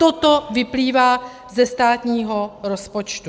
Toto vyplývá ze státního rozpočtu.